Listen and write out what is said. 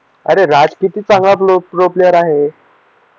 अरे राज किती चांगला न्यू प्लेयर आहे